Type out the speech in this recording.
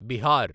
Bihar